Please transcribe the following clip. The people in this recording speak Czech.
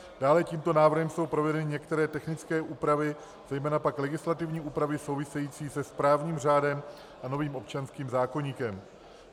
Dále tímto návrhem jsou provedeny některé technické úpravy, zejména pak legislativní úpravy související se správním řádem a novým občanským zákoníkem.